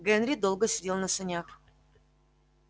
генри долго сидел на санях